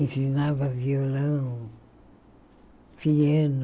Ensinava violão, piano,